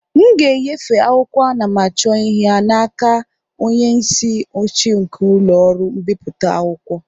m ga-enyefe akwụkwọ anamachọihe a n'aka onye isi oche nke ụlọ ọrụ mbipụta akwụkwọ